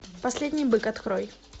последний бык открой